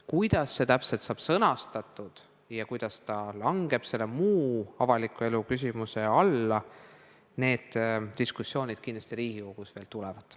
Kuidas see täpselt sõnastatakse ja kuidas see muu avaliku elu küsimuse alla langeb, need diskussioonid Riigikogus kindlasti veel tulevad.